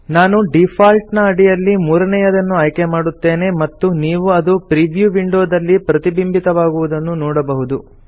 ನಾನು ಡೀಫಾಲ್ಟ್ ನ ಅಡಿಯಲ್ಲಿ ಮೂರನೇಯದನ್ನು ಆಯ್ಕೆ ಮಾಡುತ್ತೇನೆ ಮತ್ತು ನೀವು ಅದು ಪ್ರಿವ್ಯೂ ವಿಂಡೋದಲ್ಲಿ ಪ್ರತಿಬಿಂಬಿತವಾಗುವುದನ್ನು ನೋಡಬಹುದು